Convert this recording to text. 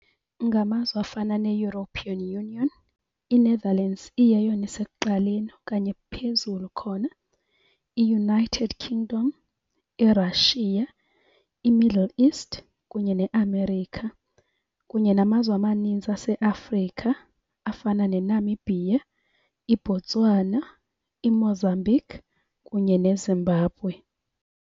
Ngamazwe afana neEuropean Union, iNetherlands iyeyona isekuqaleni okanye phezulu khona, iUnited Kingdom, iRussia, iMiddle East kunye neAmerica. Kunye namazwe amaninzi aseAfrika afana neNamibia, iBotswana, iMozambique kunye neZimbabwe.